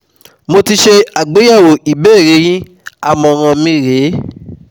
Mo ti ṣe àgbéyẹ̀wò ìbéèrè yin àmọ̀ràn mi rè é